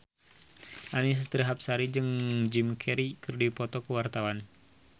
Annisa Trihapsari jeung Jim Carey keur dipoto ku wartawan